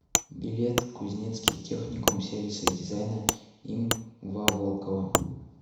билет кузнецкий техникум сервиса и дизайна им ва волкова